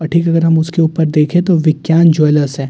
और ठीक अगर हम उसके ऊपर देखें तो विज्ञान ज्वेलर्स हैं।